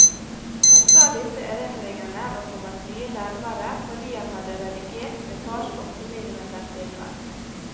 Han sa disse erindringene var kommet mye nærmere fordi han han hadde redigert sin fars åtte millimeter filmer.